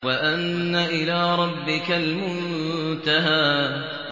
وَأَنَّ إِلَىٰ رَبِّكَ الْمُنتَهَىٰ